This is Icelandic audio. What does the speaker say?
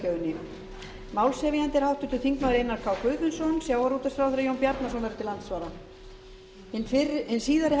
fiskveiðistjórnarlöggjöfinni málshefjandi er háttvirtur þingmaður einar k guðfinnsson sjávarútvegsráðherra jón bjarnason verður til andsvara hin síðari hefst klukkan